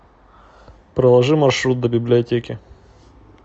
проложи маршрут до библиотеки